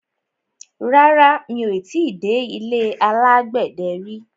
Rárá, mi ò ti dé ilé alágbẹ̀dẹ rí.